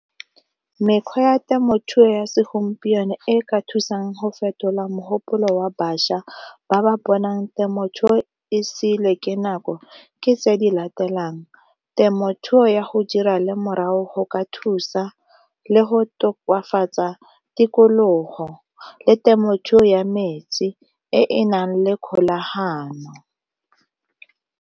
Mekgwa ya temothuo ya segompieno e ka thusang go fetola mogopolo wa bašwa ba ba bonang temothuo e seiwe ke nako ke tse di latelang, temothuto ya go dira lemorago go ka thusa le go tokafatsa tikologo le temothuo ya metsi e e nang le kgolagano.